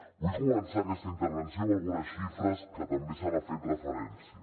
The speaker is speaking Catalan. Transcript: vull començar aquesta intervenció amb algunes xifres que també se n’ha fet referència